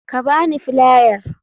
Ka ba ni filiar.